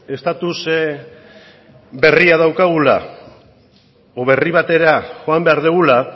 estatus berria daukagula edo berri batera joan behar dugula